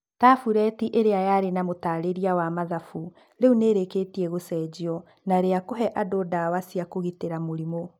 Tabureti ĩrĩa yarĩ na mũtaarĩria wa mathafu rĩu nĩ ĩrĩkĩtie gũcenjio na rĩa kũhe andũ ndawa cia kũgitĩra mũrimũ.